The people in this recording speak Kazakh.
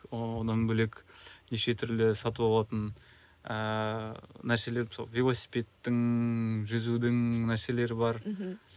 дан бөлек неше түрлі сатып алатын ыыы нәрселер мысалы велосипедтің жүзудің нәрселері бар мхм